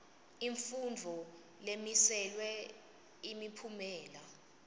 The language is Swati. imfundvo lemiselwe imiphumela